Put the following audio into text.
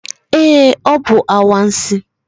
Ee, ọ bụ anwansi.